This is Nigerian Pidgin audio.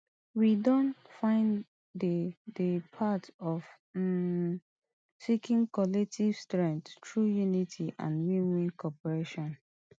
we don find di di path of um seeking collective strength through unity and winwin cooperation